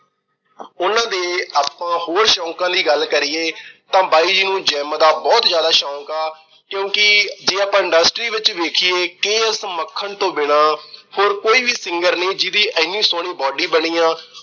ਉਹਨਾਂ ਦੇ ਆਪਾਂ ਹੋਰ ਸ਼ੌਕਾਂ ਦੀ ਗੱਲ ਕਰੀਏ ਤਾਂ ਬਾਈ ਜੀ ਨੂੰ gym ਦਾ ਬਹੁਤ ਜਿਆਦਾ ਸ਼ੌਕ ਆ ਕਿਉਂਕਿ ਜੇ ਆਪਾ industry ਵਿੱਚ ਵੇਖੀਏ ਕੇ. ਐਸ. ਮੱਖਣ ਤੋੋਂ ਬਿਨਾਂ ਹੋਰ ਕੋਈ ਵੀ singer ਨੀ, ਜਿਹਦੀ ਐਡੀ ਸੋਹਣੀ body ਬਣੀ ਆ।